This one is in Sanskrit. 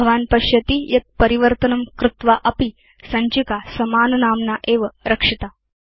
भवान् पश्यति यत् परिवर्तनं कृत्वा अपि सञ्चिका समाननाम्ना एव रक्षिता